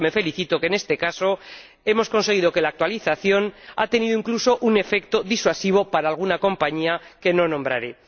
Además, también me felicito de que en este caso hayamos conseguido que la actualización haya tenido incluso un efecto disuasivo para alguna compañía que no nombraré.